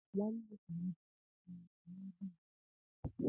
Nwanne Kelechi nwere mmasị n'ebe ezinụlọ ya nọ.